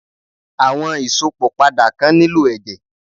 Àwọn Ìsópọ̀ padà kan nílò ẹ̀jẹ̀